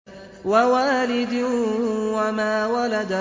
وَوَالِدٍ وَمَا وَلَدَ